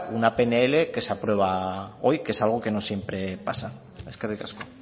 una pnl que se aprueba hoy que es algo que no siempre pasa eskerrik asko